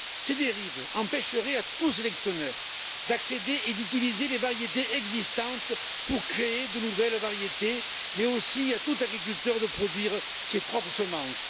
Ces dérives empêcheraient tout sélectionneur d'accéder et d'utiliser les variétés existantes pour créer de nouvelles variétés, mais aussi tout agriculteur de produire ses propres semences.